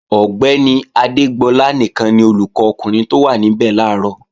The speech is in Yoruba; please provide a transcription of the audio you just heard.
Ọ̀gbẹ́ni Adégbọlá nìkan ni olùkọ́ ọkùnrin tó wá níbẹ̀ làárọ̀